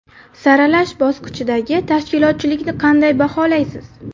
Saralash bosqichidagi tashkilotchilikni qanday baholaysiz.